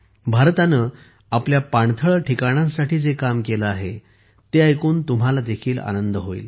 भारताने आपल्या पाणथळ ठिकाणांसाठी जे काम केले आहे ते ऐकून तुम्हाला देखील आनंद होईल